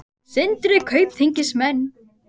Sindri: Kaupþingsmenn?